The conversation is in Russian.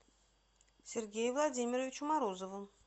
сергею владимировичу морозову